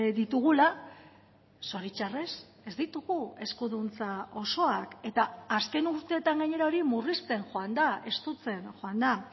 ditugula zoritxarrez ez ditugu eskuduntza osoak eta azken urteetan gainera hori murrizten joan da estutzen joan da